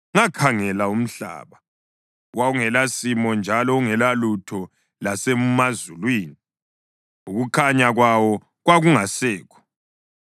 Ngakhangela umhlaba, wawungelasimo njalo ungelalutho; lasemazulwini, ukukhanya kwawo kwakungasekho.